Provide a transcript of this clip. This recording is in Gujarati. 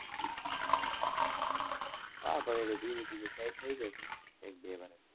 હા પછી તો ધીમે ધીમે સેટ થયી જશે એક બે વર્ષ પછી.